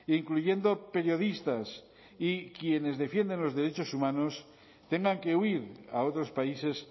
incluyendo periodistas y quienes defienden los derechos humanos tengan que huir a otros países